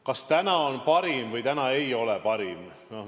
Kas tänane valik on parim või ei ole parim?